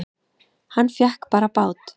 Hann fékk bara bát!